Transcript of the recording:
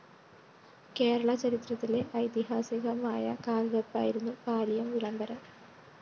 കേരള ചരിത്രത്തിലെ ഐതിഹാസികമായ കാല്‍വെപ്പായിരുന്നു പാലിയം വിളംബരം